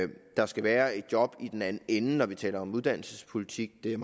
der skal være et job i den anden ende når vi taler om uddannelsespolitik det er